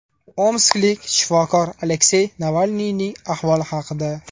Omsklik shifokor Aleksey Navalniyning ahvoli haqida.